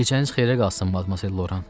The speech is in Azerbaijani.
Gecəniz xeyrə qalsın, Madmazel Loran.